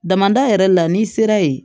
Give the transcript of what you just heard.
Damada yɛrɛ la n'i sera ye